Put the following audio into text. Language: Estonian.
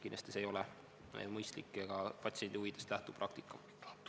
Kindlasti, see ei ole mõistlik ega patsiendi huvidest lähtuv praktika.